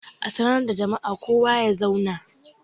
A sanar da jama'a kowa ya zauna!